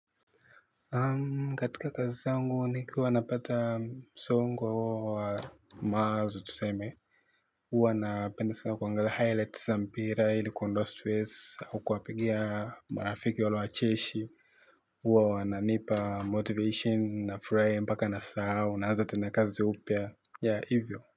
Katika kazi zangu nikiwa napata msongo wa mawazo tuseme huwa napenda sana kuangalia highlights za mpira ili kuondoa stress au kuwapigia marafiki wale wacheshi. Huwa wananipa motivation nafurahia mpaka nasahau naanza tena kazi upya ya hivyo.